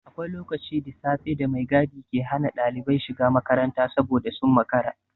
Akwai lokaci da safe da mai gadi ke hana ɗalibai shiga makaranta saboda sun makara.